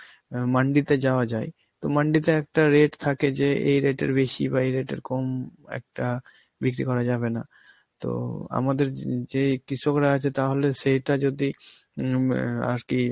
আঁ মান্ডিতে যাওয়া যায়, তো মান্ডিতে একটা rate থাকে যে এই rate এর বেশি বা এই rate এর কম একটা বিক্রি করা যাবেনা. তো আমাদের যে~ যেই কৃষকরা আছে তাহলে সেইটা যদি উম এর আর কি